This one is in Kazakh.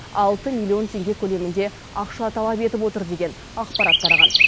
алты миллион теңге көлемінде ақша талап етіп отыр деген ақпарат тараған